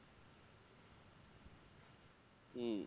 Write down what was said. হম